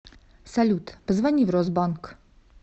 салют позвони в росбанк